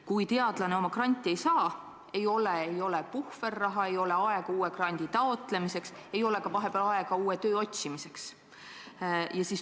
Kui teadlane oma granti ei saa, siis ei ole puhverraha, ei ole ka aega uue grandi taotlemiseks ega vahepeal uue töö otsimiseks.